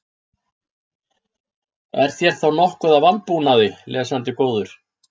Er þér þá nokkuð að vanbúnaði, lesandi góður?